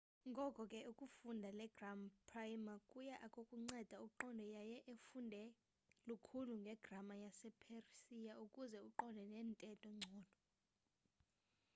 ngoko ke ukufunda le gram prayimar kuy akukunceda uqonde yaye ufunde lukhulu ngegrama yase-persia ukuze uqonde nentetho ngcono